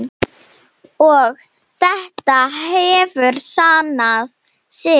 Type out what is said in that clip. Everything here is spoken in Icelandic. Og þetta hefur sannað sig.